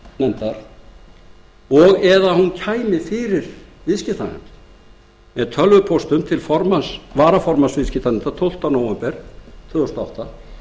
réttarfarsnefndar og eða að hún kæmi fyrir viðskiptanefnd með tölvupóstum til varaformanns viðskiptanefndar tólfti nóvember tvö þúsund og átta